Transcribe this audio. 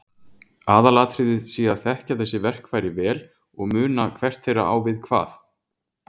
Aðalatriðið sé að þekkja þessi verkfæri vel og muna hvert þeirra á við hvað.